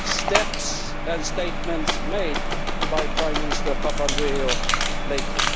the steps and statements made by Prime Minister Papandreou lately.